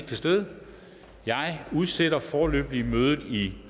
til stede jeg udsætter foreløbig mødet i